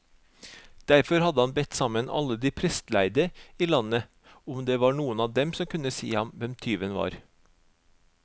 Derfor hadde han bedt sammen alle de prestlærde i landet, om det var noen av dem som kunne si ham hvem tyven var.